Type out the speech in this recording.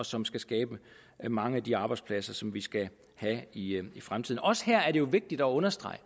som skal skabe mange af de arbejdspladser som vi skal have i fremtiden også her er det jo vigtigt at understrege